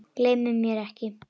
Gleymir mér ekki.